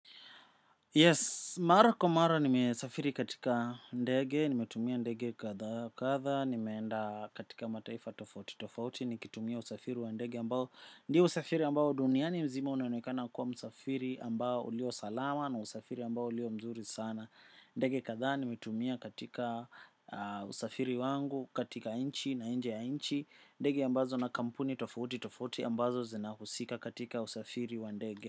Yes, mara kwa mara nimesafiri katika ndege, nimetumia ndege kadha wa kadha, nimeenda katika mataifa tofauti tofauti nikitumia usafiri wa ndege, ambao ni usafiri ambao duniani mzima unaonekana kuwa usafiri ambao ulio salama na usafiri ambao ulio mzuri sana. Ndege kadhaa nimetumia katika usafiri wangu, katika nchi na nje ya nchi, ndege ambazo na kampuni tofauti tofauti ambazo zinahusika katika usafiri wa ndege.